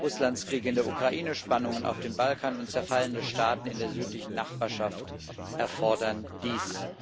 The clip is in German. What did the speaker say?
Russlands Krieg in der Ukraine, Spannungen auf dem Balkan und zerfallene Staaten in der südlichen Nachbarschaft erfordern dies.